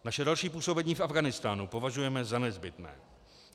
Naše další působení v Afghánistánu považujeme za nezbytné.